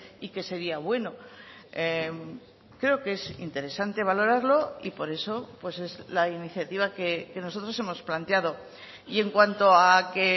y que sería bueno creo que es interesante valorarlo y por eso pues es la iniciativa que nosotros hemos planteado y en cuanto a que